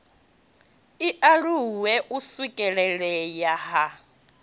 i aluwe u swikelelea ha